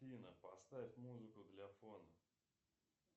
афина поставь музыку для фона